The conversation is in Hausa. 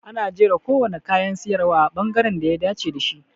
Ana jera kowane kayan siyarwa a bangaren da ya dace da shi.